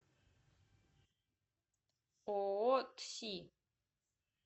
ооо тси